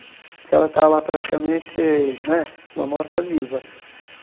Porque ela tá lá praticamente, né, uma morta-viva.